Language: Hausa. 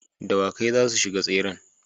Dawakai zasu shiga tseren